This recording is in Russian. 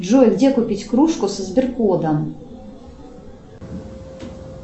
джой где купить кружку со сберкодом